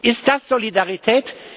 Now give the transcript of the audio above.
Ist das Solidarität?